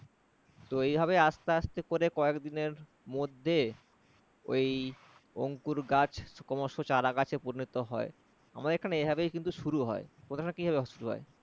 তো এই ভাবে আস্তে আস্তে করে কয়েকদিনের মধ্যে ঐ অঙ্কুর গাছ ক্রমশ চারা গাছে পরিণত হয়। আমাদের এখানে এভাবেই কিন্তু শুরু হয়। তোমাদের ওখানে কিভাবে হয়?